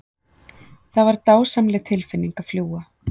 Það var dásamleg tilfinning að fljúga.